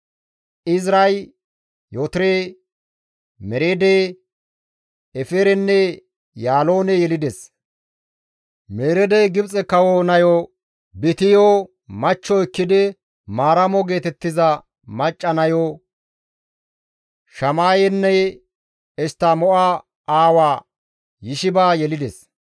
Eziray Yootore, Mereede, Eferenne Yaloone yelides; Mereedey Gibxe kawo nayo Bityo machcho ekkidi Maaramo geetettiza macca nayo, Shamayenne Eshttamo7a aawa Yishiba yelides.